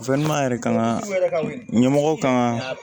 yɛrɛ kan ka ɲɛmɔgɔ kan ka